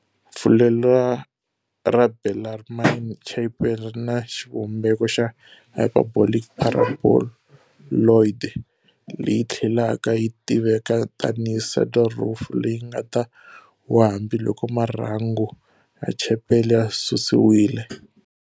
Fulelo ra Bellarmine Chapel rina xivumbeko xa hyperbolic paraboloid, leyi tlhelaka yitiveka tani hi saddle roof, leyingata wa hambiloko marhangu ya Chapel ya susiwile.